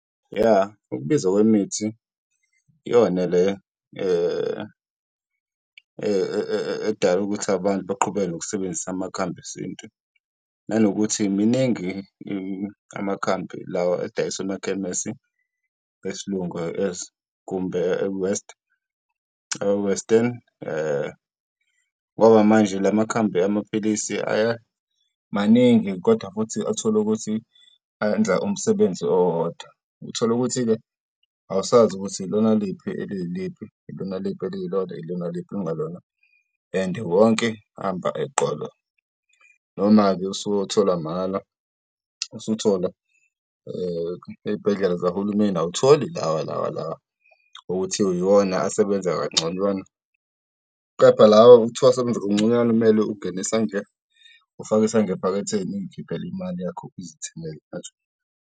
Ya, ukubiza kwemithi iyona le edala ukuthi abantu beqhubeke nokusebenzisa amakhambi esintu, nanokuthi miningi amakhambi lawa adayiswa emakhemesi esiLungu kumbe e-West e-Western , ngoba manje lamakhambi amaphilisi maningi kodwa futhi atholukuthi ayenza umsebenzi owodwa. Utholukuthi-ke awusazi ukuthi ilona liphi eliyiliphi, ilona liphi eliyilona, ilona liphi okungalona and wonke amba eqolo. Noma-ke usuyothola mahhala, usuthola ey'bhedlela zahulumeni awutholi lawa lawa lawa okuthiwa yiwona asebenza kangconywana. Kepha lawa okuthiwa asebenza kangconywana kumele ungene isandla, ufake isandla ephaketheni uy'khiphele imali yakho, uzithengele.